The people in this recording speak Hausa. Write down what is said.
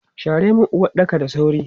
Share mun uwaɗɗakan da sauri!